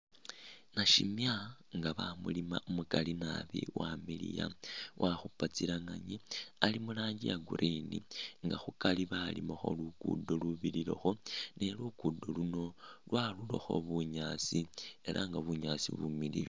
Nashiima nga bamulima umukaali naabi wamiliya wakhuupa tsilenganyi Ali muranji ya'green nga khukaari balimakho luguudo lubirilakho ni luguudo luuno lwarurakho bunyaasi ela nga bunyaasi bumiliyu